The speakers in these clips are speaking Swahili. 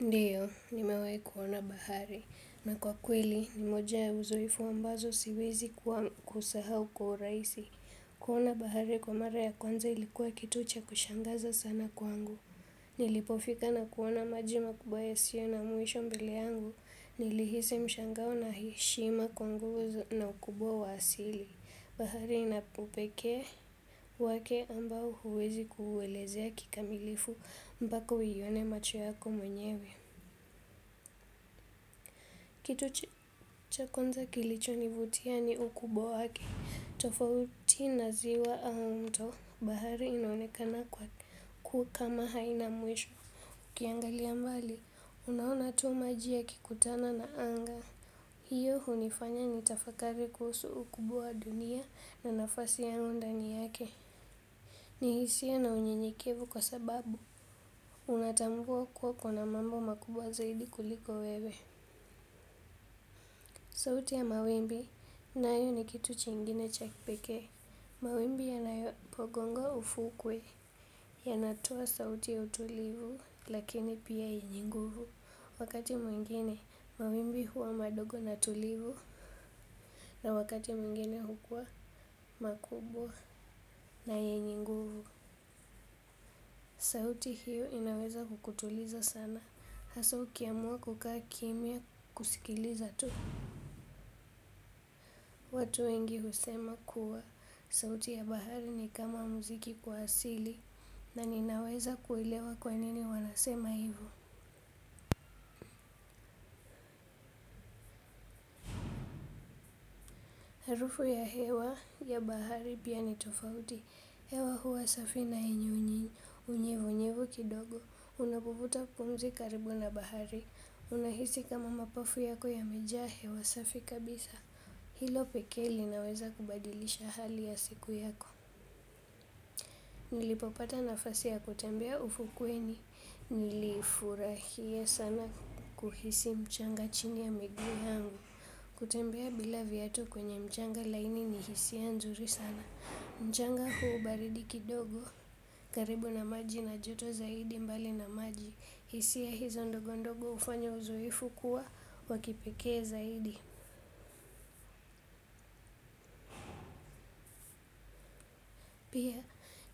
Ndiyo, nimewai kuona bahari. Na kwa kweli, ni moja uzoefu ambazo siwezi kusahau kwa uraisi. Kuona bahari kwa mara ya kwanza ilikuwa kitu cha kushangaza sana kwangu. Nilipofika na kuona maji makubwa yasio na mwisho mbele yangu. Nilihisi mshangao na heshima kwangu na ukubwa wa asili. Bahari inapo peke wake ambao huwezi kuelezea kikamilifu mbaka uione macho yako mwenyewe. Kitu cha kwnza kilichonivutia ni ukubwa wake, tofauti na ziwa au mto bahari inaonekana kwa kwa kama haina mwisho. Kiangalia mbali, unaona tuu maji yakikutana na anga. Hiyo hunifanya kutafakari kuhusu ukubwa wa dunia nafasi yangu ndani yake ni hisia na unyenyekevu kwa sababu unatambua kuwa kuna mambo makubwa zaidi kuliko wewe. Sauti ya mawimbi nayo ni kitu chingine cha kipeke. Mawimbi yanayopogongo ufukwe. Yanatoa sauti ya utulivu lakini pia yenye nguvu. Wakati mwingine mawimbi huwa madogo na tulivu. Na wakati mwingine hukuwa makubwa na yenye nguvu. Sauti hiyo inaweza kukutuliza sana. Haswa ukiamua kukaa kimya kusikiliza tu. Watu wengi husema kuwa sauti ya bahari ni kama muziki kwa asili na ninaweza kuelewa kwa nini wanasema hivu. Harufy ya hewa ya bahari pia ni tofauti. Hewa huwa safi na yenye, unyevu nyevu kidogo. Unapovuta kumzi karibu na bahari. Unahisi kama mapafu yako yamejaa hewa safi kabisa. Hilo pekee linaweza kubadilisha hali ya siku yako. Nilipopata nafasi ya kutembea ufukweni. Nilifurahia sana kuhisi mchanga chini ya miguu yangu. Kutembea bila viatu kwenye mchanga laini ni hisia nzuri sana. Mchanga huu baridi kidogo. Karibu na maji na joto zaidi mbali na maji. Hisia hizo ndogo ndogo ufanya uzoefu kuwa wa kipekee zaidi. Pia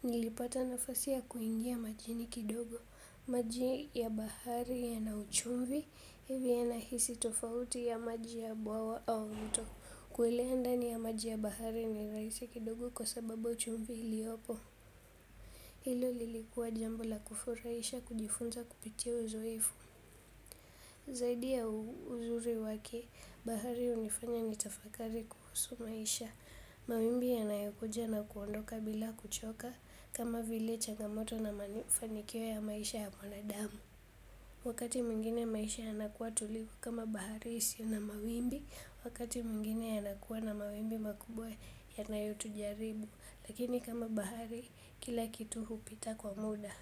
nilipata nafasi ya kuingia majini kidogo. Maji ya bahari yana uchumvi, hiyo yahisi tofauti ya maji ya buawa au mto. Kuelea ndani ya maji ya bahari ni rahisi kidogo kwa sababu ya chumvi iliopo. Hilo lilikuwa jambo la kufurahisha kujifunza kupitia uzoefu. Zaidi ya uzuri wake, bahari hunifanya nitafakari kuhusu maisha. Mawimbi yanayokuja na kuondoka bila kuchoka kama vile changamoto na manifanikio ya maisha ya mwanadamu. Wakati mingine maisha yanakuwa tuliku kama bahari isiyo na mawimbi, wakati mingine yanakuwa na mawimbi makubwa yanayotujaribu. Lakini kama bahari kila kitu hupita kwa muda.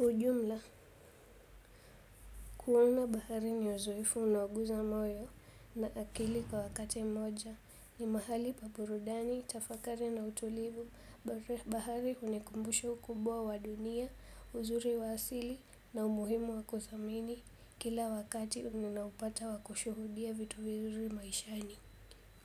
Ujumla, kuona bahari ni uzoefu unaoguza moyo na akili kwa wakati mmoja, ni mahali pa burudani, tafakari na utulivu, bahari hunikumbusha ukumbwa wa dunia, uzuri wa asili na umuhimu wa kuthamini kila wakati ninaoupata wa kushuhudia vitu vizuri maishani.